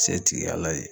Se tigiyala ye